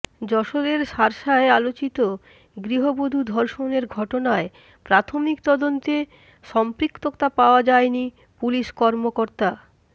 যশোরের শার্শায় আলোচিত গৃহবধূ ধর্ষণের ঘটনায় প্রাথমিক তদন্তে সম্পৃক্ততা পাওয়া যায়নি পুলিশ কর্মকর্তা